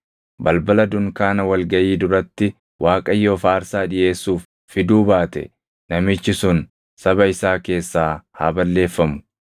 balbala dunkaana wal gaʼii duratti Waaqayyoof aarsaa dhiʼeessuuf fiduu baate namichi sun saba isaa keessaa haa balleeffamu.